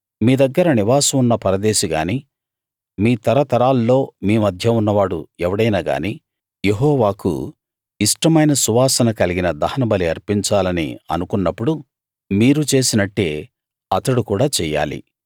మీ దగ్గర నివాసం ఉన్న పరదేశిగాని మీ తరతరాల్లో మీ మధ్య ఉన్నవాడు ఎవడైనా గాని యెహోవాకు ఇష్టమైన సువాసన కలిగిన దహనబలి అర్పించాలని అనుకున్నప్పుడు మీరు చేసినట్టే అతడు కూడా చెయ్యాలి